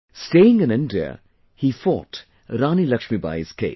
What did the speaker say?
Staying in India, he fought Rani Laxmibai's case